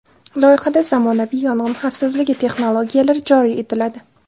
Loyihada zamonaviy yong‘in xavfsizligi texnologiyalari joriy etiladi.